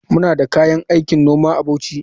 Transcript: Muna da kayan aikin noma a Bauchi.